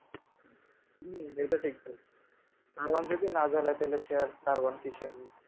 হুম এটা ঠিক বলছো দারোয়ান যদি না জ্বালায় তাহলে সে আর দারোয়ান কিসের